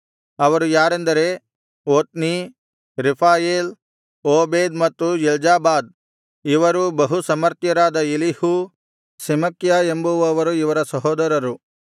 ಅವರು ಯಾರೆಂದರೆ ಒತ್ನೀ ರೆಫಾಯೇಲ್ ಓಬೇದ್ ಮತ್ತು ಎಲ್ಜಾಬಾದ್ ಇವರೂ ಬಹುಸಮರ್ಥರಾದ ಎಲೀಹು ಸೆಮಕ್ಯ ಎಂಬುವವರು ಇವರ ಸಹೋದರರು